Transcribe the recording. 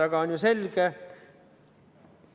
See on ju selge.